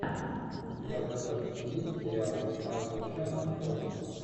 у тебя в загашнике есть сериал майкл шеннон после